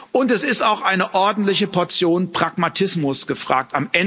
Und es ist auch eine ordentliche Portion Pragmatismus gefragt.